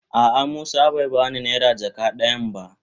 A'a musa bai ba ni naira jaka dayan da.